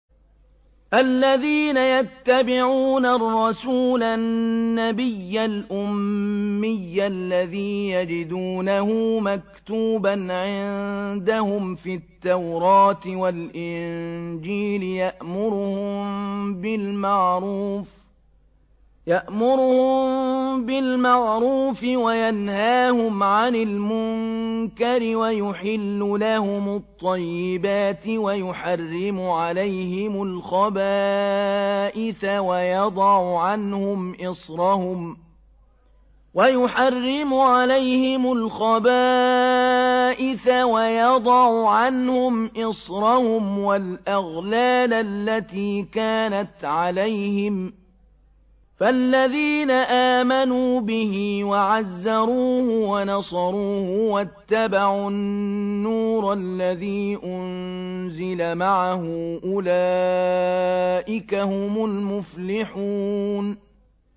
الَّذِينَ يَتَّبِعُونَ الرَّسُولَ النَّبِيَّ الْأُمِّيَّ الَّذِي يَجِدُونَهُ مَكْتُوبًا عِندَهُمْ فِي التَّوْرَاةِ وَالْإِنجِيلِ يَأْمُرُهُم بِالْمَعْرُوفِ وَيَنْهَاهُمْ عَنِ الْمُنكَرِ وَيُحِلُّ لَهُمُ الطَّيِّبَاتِ وَيُحَرِّمُ عَلَيْهِمُ الْخَبَائِثَ وَيَضَعُ عَنْهُمْ إِصْرَهُمْ وَالْأَغْلَالَ الَّتِي كَانَتْ عَلَيْهِمْ ۚ فَالَّذِينَ آمَنُوا بِهِ وَعَزَّرُوهُ وَنَصَرُوهُ وَاتَّبَعُوا النُّورَ الَّذِي أُنزِلَ مَعَهُ ۙ أُولَٰئِكَ هُمُ الْمُفْلِحُونَ